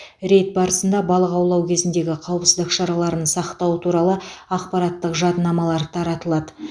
рейд барысында балық аулау кезіндегі қауіпсіздік шараларын сақтау туралы ақпараттық жадынамалар таратылады